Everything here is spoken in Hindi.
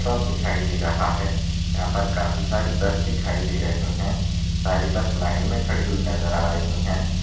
स्टॉप दिखाई दे रहा है यहा पर काफी सारे बस दिखाई दे रहे है सारी बस लाइन मे खड़ी हुई नजर आ रहे है।